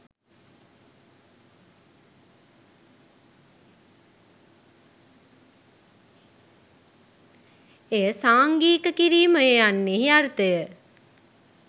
එය සංඝීක කිරීමය යන්නෙහි අර්ථය